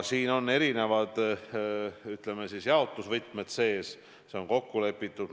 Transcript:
Siin on erinevad, ütleme, jaotusvõtmed sees, see on kokku lepitud.